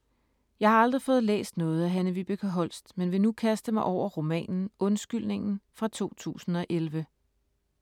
Jeg har aldrig fået læst noget af Hanne-Vibeke Holst, men vil nu kaste mig over romanen Undskyldningen fra 2011.